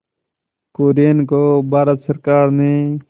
कुरियन को भारत सरकार ने